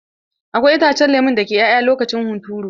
Akwai itacen lemo dake 'ya'ya lokacin hunturu.